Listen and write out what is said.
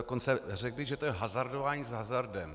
Dokonce bych řekl, že to je hazardování s hazardem.